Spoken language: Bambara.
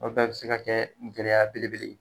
O bɛɛ bɛ se ka kɛ gɛlɛya belebele ye